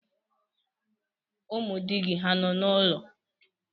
Ụmụ di gị hà nọ n'ụlọ?